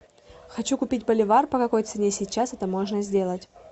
хочу купить боливар по какой цене сейчас это можно сделать